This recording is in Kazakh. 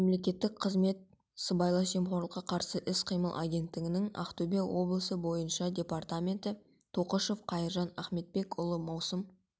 мемлекеттік қызмет сыбайлас жемқорлыққа қарсы іс-қимыл агенттігінің ақтөбе облысы бойынша департаменті тоқышев қайыржан ахметбекұлы маусым